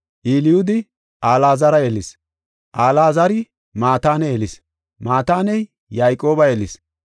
Elyuudi Alaazara yelis; Alaazari Maatane yelis; Maataney Yayqooba yelis;